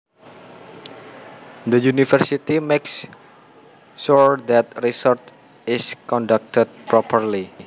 The university makes sure that research is conducted properly